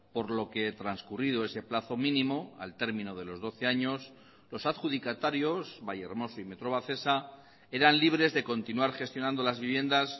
por lo que transcurrido ese plazo mínimo al termino de los doce años los adjudicatarios vallehermoso y metrovacesa eran libres de continuar gestionando las viviendas